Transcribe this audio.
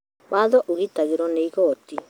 Watho ũgitagĩrwo nĩ igoti